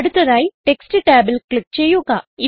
അടുത്തതായി ടെക്സ്റ്റ് ടാബിൽ ക്ലിക്ക് ചെയ്യുക